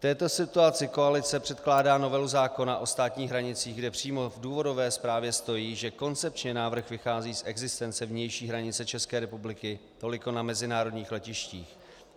V této situaci koalice předkládá novelu zákona o státních hranicích, kde přímo v důvodové zprávě stojí, že koncepčně návrh vychází z existence vnější hranice České republiky toliko na mezinárodních letištích.